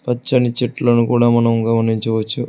పచ్చని చెట్లను కూడా మనం గమనించవచ్చు.